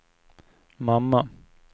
mamma